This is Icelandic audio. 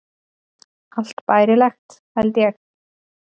Allt bærilegt, held ég.